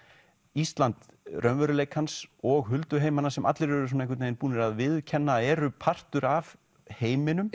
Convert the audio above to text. Ísland raunveruleikans og hulduheimana sem allir eru einhvern veginn búnir að viðurkenna að eru partur af heiminum